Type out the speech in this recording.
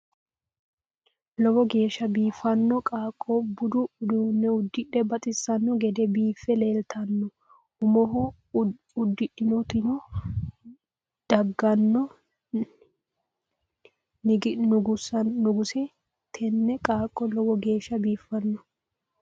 Lowo geshsha bifino qaaqqo budu udinne udidhe baxisano gede bife lelitanno umoho idudhitino diganno niginose tini qaaqo low geshsha bifino